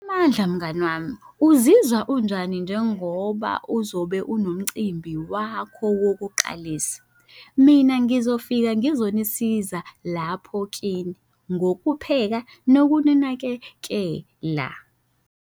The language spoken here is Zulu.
Mandla mngani wami, uzizwa unjani njengoba uzobe unomcimbi wakho wokuqalisa? Mina ngizofika ngizonisiza lapho kini ngokupheka nokuninakekela.